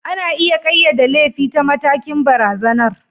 Ana iya ƙayyade laifi ta matakin barazanar.